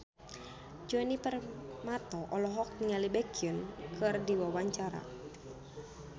Djoni Permato olohok ningali Baekhyun keur diwawancara